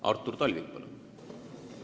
Artur Talvik, palun!